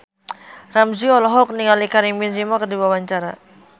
Ramzy olohok ningali Karim Benzema keur diwawancara